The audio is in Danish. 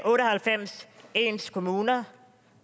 otte og halvfems ens kommuner